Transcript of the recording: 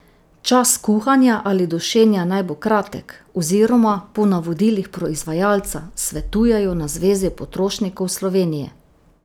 Čas kuhanja ali dušenja naj bo kratek, oziroma po navodilih proizvajalca, svetujejo na Zvezi potrošnikov Slovenije.